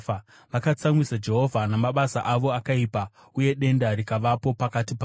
Vakatsamwisa Jehovha namabasa avo akaipa, uye denda rikavapo pakati pavo.